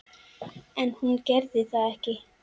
En hún gerði það ekki.